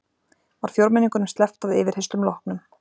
Var fjórmenningunum sleppt að yfirheyrslum loknum